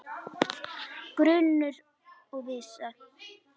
Grunur og vissa